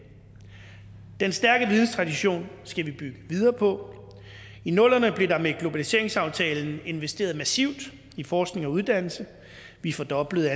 den stærke videnstradition skal vi bygge videre på i nullerne blev der med globaliseringsaftalen investeret massivt i forskning og uddannelse vi fordoblede